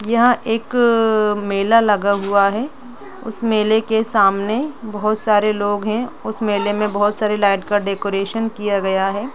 यहां एक मेला लगा हुआ है उस मेले के सामने बहुत सारे लोग है उस मेले में बहुत सारी लाइट् का डेकोरेशन किया गया है।